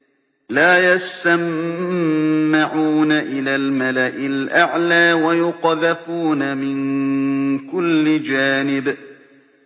لَّا يَسَّمَّعُونَ إِلَى الْمَلَإِ الْأَعْلَىٰ وَيُقْذَفُونَ مِن كُلِّ جَانِبٍ